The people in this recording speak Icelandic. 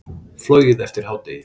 Flogið eftir hádegi